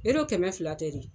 kɛmɛ fila tɛ de ?